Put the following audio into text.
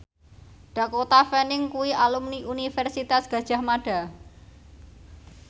Dakota Fanning kuwi alumni Universitas Gadjah Mada